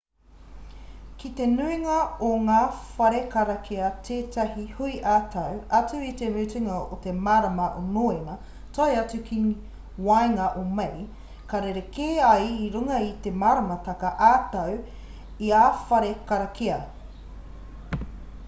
kei te nuinga o ngā whare karakia tētahi hui ā-tau atu i te mutunga o te marama o noema tae atu ki waenga o mei ka rerekē ai i runga i te maramataka ā-tau o ia whare karakia